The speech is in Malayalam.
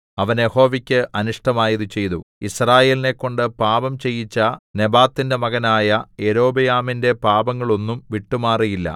അവൻ യഹോവയ്ക്ക് അനിഷ്ടമായത് ചെയ്തു യിസ്രായേലിനെക്കൊണ്ട് പാപം ചെയ്യിച്ച നെബാത്തിന്റെ മകനായ യൊരോബെയാമിന്റെ പാപങ്ങളൊന്നും വിട്ടുമാറിയില്ല